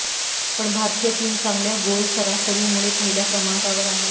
पण भारतीय टीम चांगल्या गोल सरासरीमुळे पहिल्या क्रमांकावर आहे